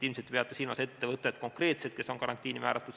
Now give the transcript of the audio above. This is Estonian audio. Ilmselt te peate silmas konkreetselt seda ettevõtet, mis on karantiini määratud.